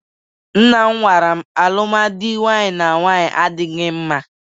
Nnam gwaram na alụmdi nwaanyị na nwaanyị adịghị mma.